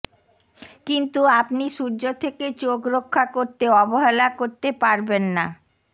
কিন্তু আপনি সূর্য থেকে চোখ রক্ষা করতে অবহেলা করতে পারবেন না